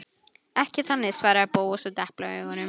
Ekki þannig- svaraði Bóas og deplaði augunum.